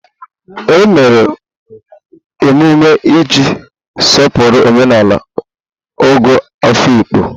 E mere emume iji sọpụrụ omenala Ogo Afikpo.